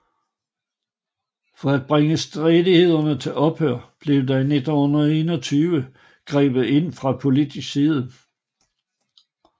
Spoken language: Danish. For at bringe stridighederne til ophør blev der i 1921 grebet ind fra politisk side